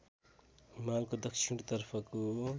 हिमालको दक्षिण तर्फको